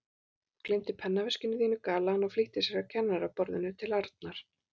Þú gleymdir pennaveskinu þínu galaði hann og flýtti sér að kennaraborðinu til Arnar.